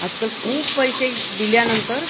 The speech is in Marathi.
आज-काल खुप पैसे दिल्या नंतर